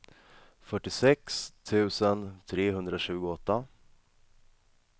fyrtiosex tusen trehundratjugoåtta